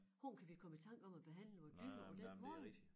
Hvordan kan vi komme i tanker om at behandle vore dyr på den måde?